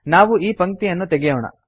ನಾವು ಈ ಪಂಕ್ತಿಯನ್ನು ತೆಗೆಯೋಣ